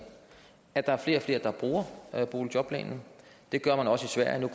at der er flere og flere der bruger boligjobplanen det gør man også i sverige